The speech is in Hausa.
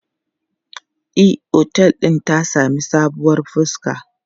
E, otel din ta sami sabuwar fuska.